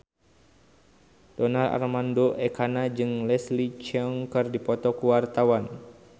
Donar Armando Ekana jeung Leslie Cheung keur dipoto ku wartawan